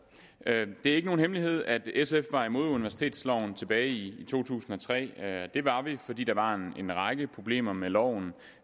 det er ikke nogen hemmelighed at sf var imod universitetsloven tilbage i to tusind og tre det var vi fordi der var en række problemer med loven